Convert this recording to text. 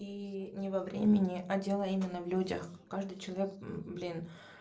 и не во времени а дело именно в людях каждый человек блин